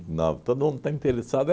nove? Todo mundo está interessado